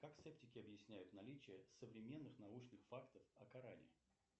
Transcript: как септики объясняют наличие севременныз научных фактов о коране